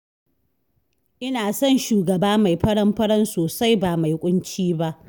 Ina son shugaba mai faran-faran sosai ba mai ƙunci ba